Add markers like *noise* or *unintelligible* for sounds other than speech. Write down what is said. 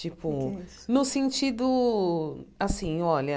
Tipo, *unintelligible* no sentido, assim, olha,